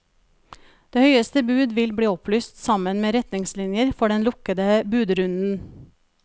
Det høyeste bud vil bli opplyst sammen med retningslinjer for den lukkede budrunden.